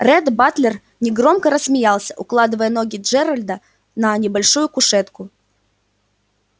ретт батлер негромко рассмеялся укладывая ноги джералда на небольшую кушетку